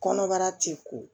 Kɔnɔbara ti ko